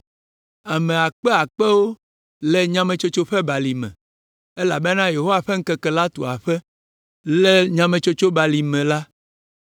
Ame akpe akpewo le Nyametsotso ƒe Balime elabena Yehowa ƒe Ŋkeke la tu aƒe le Nyametsotso Balime la.